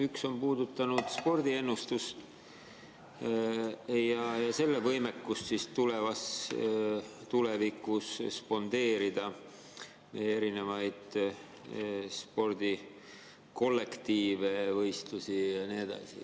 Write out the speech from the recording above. Üks on puudutanud spordiennustust ja selle võimekust tulevikus spondeerida spordikollektiive, ‑võistlusi ja nii edasi.